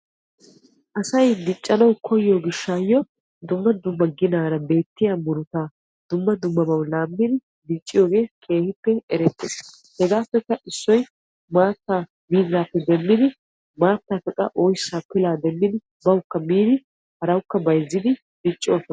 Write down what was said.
asay diccanaw koyyiyo gishshayyo dumma dumma ginaara bettiya murutaa dumma dumma laammidi dicciyooge keehippe erettees. hegappekka issoy maattaa miizzappe demmidi maattappe qa oyssa, pilaa demmidi bawukka miidi harawukka bayzziidi dicciyooga ...